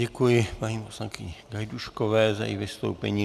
Děkuji paní poslankyni Gajdůškové za její vystoupení.